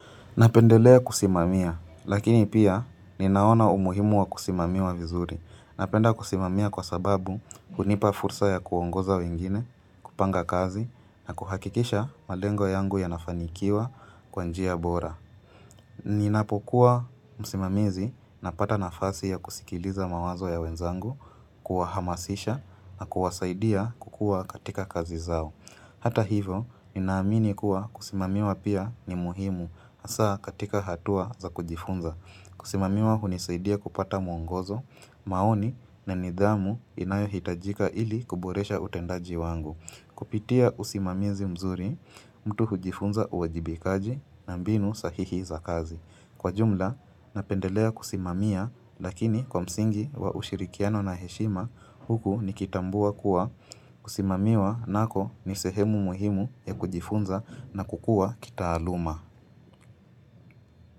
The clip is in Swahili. Napendelea kusimamia, lakini pia ninaona umuhimu wa kusimamiwa vizuri. Napenda kusimamia kwa sababu hunipa fursa ya kuongoza wengine, kupanga kazi, na kuhakikisha malengo yangu yanafanikiwa kwa njia bora. Ninapokuwa msimamizi napata nafasi ya kusikiliza mawazo ya wenzangu, kuwahamasisha, na kuwasaidia kukua katika kazi zao. Hata hivo, ninaamini kuwa kusimamiwa pia ni muhimu, hasa katika hatua za kujifunza. Kusimamiwa hunisaidia kupata mwongozo, maoni na nidhamu inayohitajika ili kuboresha utendaji wangu. Kupitia usimamizi mzuri, mtu hujifunza uwajibikaji na mbinu sahihi za kazi. Kwa jumla, napendelea kusimamia lakini kwa msingi wa ushirikiano na heshima huku nikitambua kuwa kusimamiwa nako ni sehemu muhimu ya kujifunza na kukua kitaaluma.